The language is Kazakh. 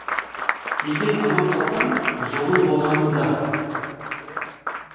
егер аман қалсаң жолың болғаны да